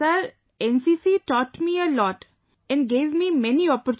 Sir NCC taught me a lot, and gave me many opportunities